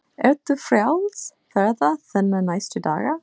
Ert þú frjáls ferða þinna næstu daga?